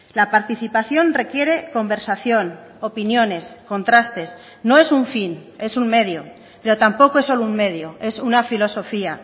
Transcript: la participación requiere conversación opiniones contrastes no es un fin es un medio pero tampoco es solo un medio es una filosofía